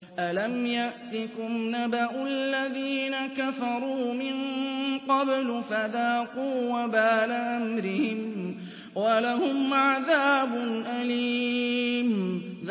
أَلَمْ يَأْتِكُمْ نَبَأُ الَّذِينَ كَفَرُوا مِن قَبْلُ فَذَاقُوا وَبَالَ أَمْرِهِمْ وَلَهُمْ عَذَابٌ أَلِيمٌ